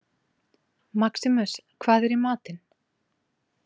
Maximus, hvað er í matinn?